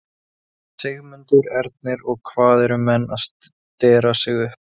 Sigmundur Ernir: Og hvað, eru menn að stera sig upp?